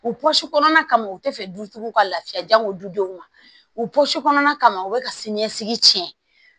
O pɔsi kɔnɔna u tɛ fɛ dutigiw ka lafiya janko dudenw ma o pɔsi kɔnɔna u bɛ ka siniɲɛsigi cɛn